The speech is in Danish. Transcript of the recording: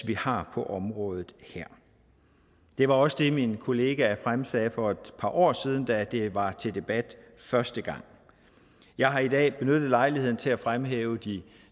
vi har på området her det var også det min kollega fremsagde for et par år siden da det var til debat første gang jeg har i dag benyttet lejligheden til at fremhæve de